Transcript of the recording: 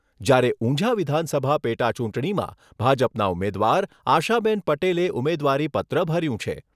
જ્યારે ઉંઝા વિધાનસભા પેટાચૂંટણીમાં ભાજપનાં ઉમેદવાર આશાબેન પટેલે ઉમેદવારીપત્ર ભર્યું છે.